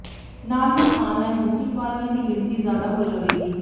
ਨਾਲ ਹੀ online booking ਵਾਲਿਆਂ ਦੀ ਗਿਣਤੀ ਜ਼ਿਆਦਾ ਹੋ ਜਾਵੇਗੀ